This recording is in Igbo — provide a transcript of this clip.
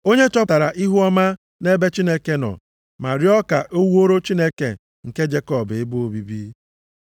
Onye chọtara ihuọma nʼebe Chineke nọ, ma rịọ ka o wuore Chineke nke Jekọb ebe obibi.